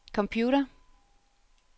computer